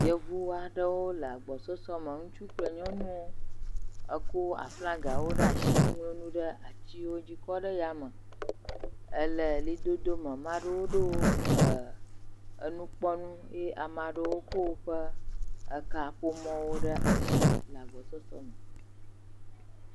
yevu aɖewo le agbɔ sɔsɔ me ŋutsu kple nyɔnuwo eko aflagawo ɖasi e ŋloŋu ɖe atsiwodzi kɔ ɖe yame ele ɣlidodo me maɖewo ɖó e enukɔnukui amaɖewo ko wóƒe ekaƒomɔwo ɖe asi